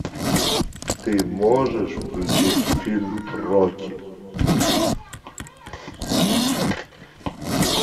ты можешь включить фильм рокки